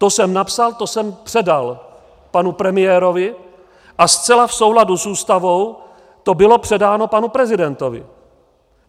To jsem napsal, to jsem předal panu premiérovi a zcela v souladu s Ústavou to bylo předáno panu prezidentovi.